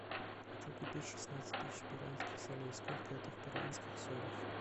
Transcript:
хочу купить шестнадцать тысяч перуанских солей сколько это в перуанских солях